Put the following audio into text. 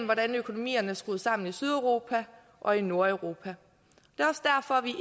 hvordan økonomien er skruet sammen i sydeuropa og i nordeuropa